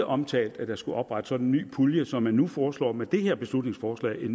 omtalt at der skulle oprettes en sådan ny pulje som man nu foreslår med det her beslutningsforslag